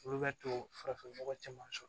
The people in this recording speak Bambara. Olu bɛ to farafinnɔgɔ caman sɔrɔ